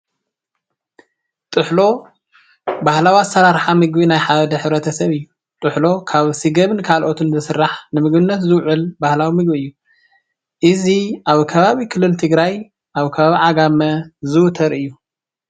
ጥሕሎ ባህላዊ ኣሰራርሓ ምግቢ ናይ ሓደ ሕብረተሰብ እዩ። ጥሕሎ ካብ ስገምን ካሎኦትን ዝስራሕ ንምግብነት ዝውዕል ባህላዊ ምግቢ እዩ። እዚ ኣብ ከባቢ ክልል ትግራይ ኣብ ከባቢ ዓጋመ ዝውተር እዩ።